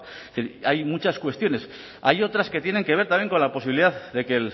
es decir hay muchas cuestiones hay otras que tienen que ver también con la posibilidad de que